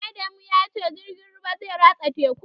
Adamu ya ce jirgin ruwan zai ratsa tekun